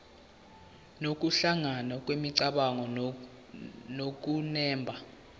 nokuhlangana kwemicabango nokunemba